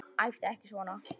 Æptu ekki svona!